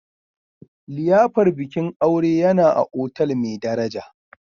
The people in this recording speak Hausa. liyafar bikin aure yana a otal mai daraja